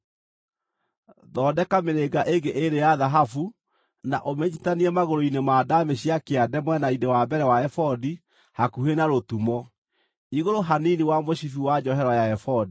Thondeka mĩrĩnga ĩngĩ ĩĩrĩ ya thahabu na ũmĩnyiitithanie magũrũ-inĩ ma ndaamĩ cia kĩande mwena-inĩ wa mbere wa ebodi, hakuhĩ na rũtumo, igũrũ hanini wa mũcibi wa njohero ya ebodi.